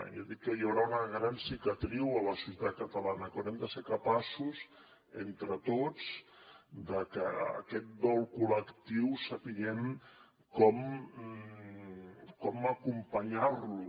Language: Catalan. jo dic que hi haurà una gran cicatriu a la societat catalana que haurem de ser capaços entre tots de que aquest dol col·lectiu sapiguem com acompanyar lo